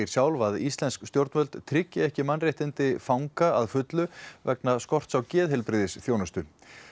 sjálf að íslensk stjórnvöld tryggi ekki mannréttindi fanga að fullu vegna skorts á geðheilbrigðisþjónustu